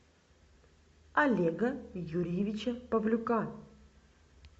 олега юрьевича павлюка